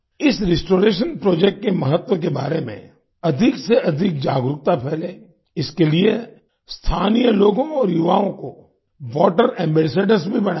इस restoration project के महत्व के बारे में अधिक से अधिक जागरूकता फैले इसके लिए स्थानीय लोगों और युवाओं को वाटर एम्बैसेडर्स भी बनाया गया